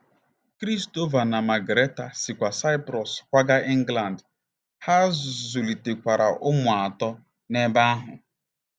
Christopher na Margarita sikwa Saịprọs kwaga England, ha zụlitekwara ụmụ atọ n'ebe ahụ.